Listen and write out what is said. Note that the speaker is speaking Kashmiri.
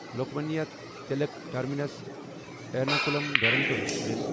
Lokmanya Tilak terminus Ernakulam Duronto express